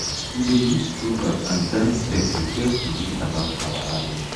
we dey use proverb and dance step to tell tori about our harvest